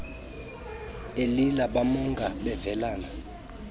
elila bamonga bevelana